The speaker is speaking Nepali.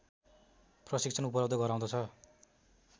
प्रशिक्षण उपलब्ध गराउँदछ